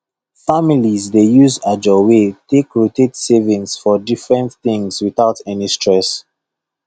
families dey use ajo way take rotate savings for different things without any stress